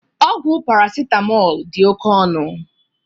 Ọgwụ paracetamol dị oke ọnụ